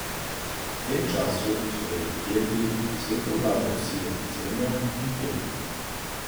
V tem času, so verjeli Kelti, svetu vladajo sile podzemlja in prednikov.